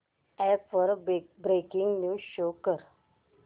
app वर breaking news show कर